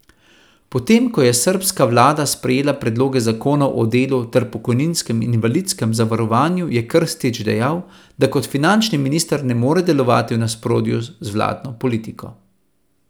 Potem ko je srbska vlada sprejela predloge zakonov o delu ter pokojninskem in invalidskem zavarovanju, je Krstić dejal, da kot finančni minister ne more delovati v nasprotju z vladno politiko.